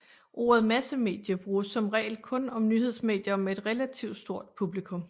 Ordet massemedie bruges som regel kun om nyhedsmedier med et relativ stort publikum